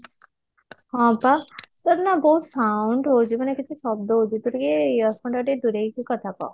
ହଁ ବା ତୋର ନା ବହୁତ sound ହଉଛି ମାନେ କେତେ ଶବ୍ଦ ହଉଛି ତୁ ଟିକେ earphone ଟା ଟିକେ ଦୂରେଇକି କଥା କହ